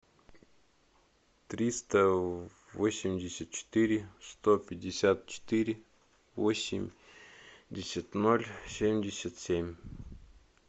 триста восемьдесят четыре сто пятьдесят четыре восемьдесят ноль семьдесят семь